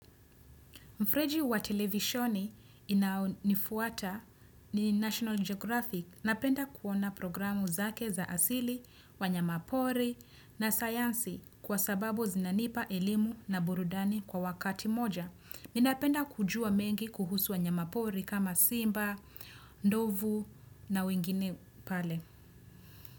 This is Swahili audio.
Mfreji wa televisheni inafuata ni National Geographic napenda kuona programu zake za asili wa nyamapori na sayansi kwa sababu zinanipa elimu na burudani kwa wakati moja. Ninapenda kujua mengi kuhusu wa nyamapori kama simba, ndovu na wengine pale.